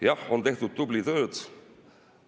Jah, on tehtud tublit tööd.